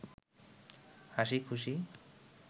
হাসি খুশি